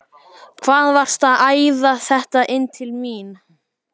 HVAÐ VARSTU AÐ ÆÐA ÞETTA INN TIL MÍN!